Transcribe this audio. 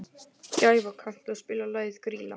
Gæfa, kanntu að spila lagið „Grýla“?